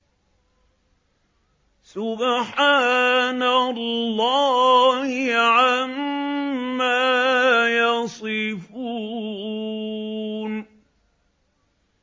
سُبْحَانَ اللَّهِ عَمَّا يَصِفُونَ